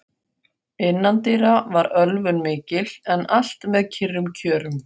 Innandyra var ölvun mikil, en allt með kyrrum kjörum.